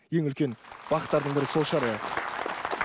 ең үлкен бақыттардың бірі сол шығар иә